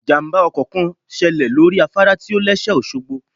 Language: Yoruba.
Ìjàmbá ọkọ̀ kan ṣẹlẹ̀ lórí afárá tí ò lẹ́sẹ̀ òṣogbo